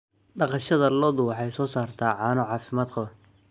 Dhaqashada lo'du waxay soo saartaa caano caafimaad qaba.